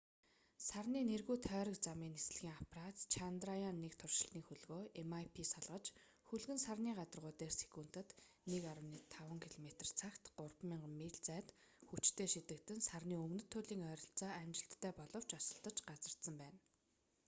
сарны нэргүй тойрог замын нислэгийн аппарат чандраяан-1 туршилтын хөлгөө mip салгаж хөлөг нь сарны гадаргуу дээр секундэд 1,5 километр цагт 3000 миль зайд хүчтэй шидэгдэн сарны өмнөд туйлын ойролцоо амжилттай боловч осолдож газардсан байна